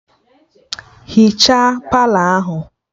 Hichaa Palọ ahụ!